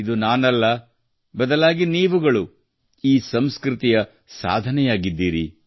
ಇದು ನಾನಲ್ಲ ಬದಲಾಗಿ ನೀವುಗಳು ಈ ಸಂಸ್ಕೃತಿಯ ಸಾಧನೆಯಾಗಿದ್ದೀರಿ